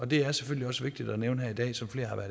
det er selvfølgelig også vigtigt at nævne her